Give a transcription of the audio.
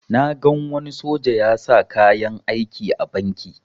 Na gan wani soja ya sa kayan aiki a banki